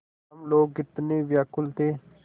हम लोग कितने व्याकुल थे